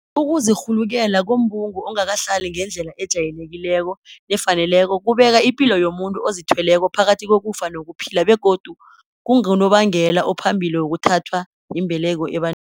Ukuzirhulukela kombungu ongakahlali ngendlela ejayelekileko nefaneleko kubeka ipilo yomuntu ozithweleko phakathi kokufa nokuphila begodu kungunobangela ophambili wokuthathwa yimbeleko ebantwini